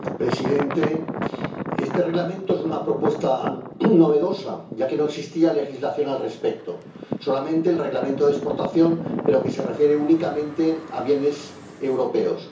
Señor presidente, este Reglamento es una propuesta novedosa, ya que no existía legislación al respecto, solamente el Reglamento de exportación, que se refiere únicamente a bienes europeos.